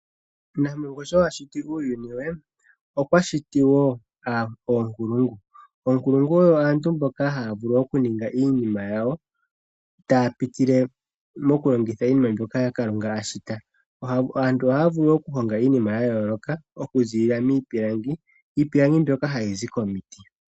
Nampongo sho ashiti uuyuni we, okwa shiti woo oonkulungu, oonkulungu oyo aantu mboka haya vulu oku ninga iinima yawo taya pitile mokulongitha iinima mbyoka Kalunga ashita. Aantu ohaya vulu wo okuhonga iinima ya yooloka taya longitha iipilangi, iipilangi mbyoka hayizi komiti.